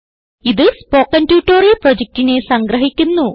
ഇതു spoken tutorial പ്രൊജക്റ്റിനെ സംഗ്രഹിക്കുന്നു